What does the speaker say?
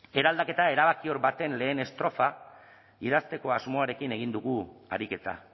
eraldaketa erabakior baten lehen estrofa idazteko asmoarekin egin dugu ariketa